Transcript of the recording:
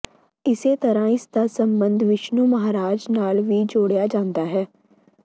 ਇਸੇ ਤਰ੍ਹਾਂ ਇਸ ਦਾ ਸਬੰਧ ਵਿਸ਼ਨੂੰ ਮਹਾਰਾਜ ਨਾਲ ਵੀ ਜੋੜਿਆ ਜਾਂਦਾ ਹੈ